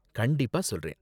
கண்டிப்பா சொல்றேன்!